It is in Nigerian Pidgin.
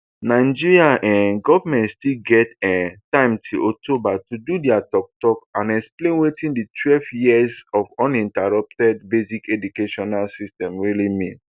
nigeria um goment still get um time till october to do dia toktok and explain wetin di twelve years of uninterrupted basic educational system really mean